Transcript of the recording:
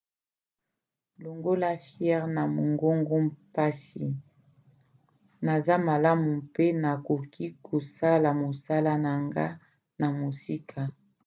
longola fievre na mongongo mpasi naza malamu mpe nakoki kosala mosala na ngai na mosika.